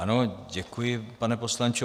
Ano, děkuji, pane poslanče.